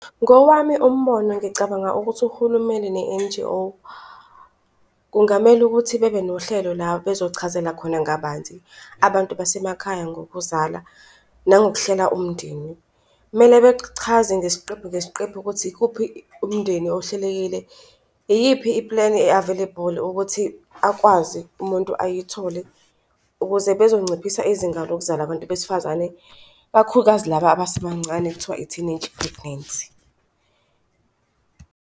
Ngowami umbono ngicabanga ukuthi uhulumeni ne-N_G_O kungamele ukuthi bebe nohlelo la bezochazela khona ngabanzi abantu basemakhaya ngokuzala, nangokuhlela umndeni. Kumele bechaze ngesiqephu ngesiqephu ukuthi ikuphi, umndeni ohlelekile, iyiphi ipleni e-available ukuthi akwazi umuntu ayithole ukuze bezonciphisa izinga lokuzala abantu besifazane ikakhulukazi laba abasebancane kuthiwa i-teenage pregnancy.